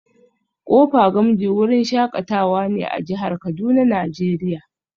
Kofa gamji wurin shakatawa ne a jihar Kuduna nigeria